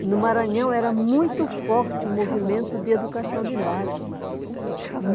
E no Maranhão era muito forte o movimento de educação de base.